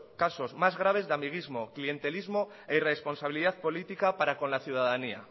casos más graves de amiguismo clientelismo e irresponsabilidad política para con la ciudadanía